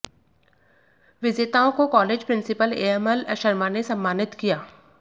विजेताओं को college principal ML Sharma ने सम्मानित किया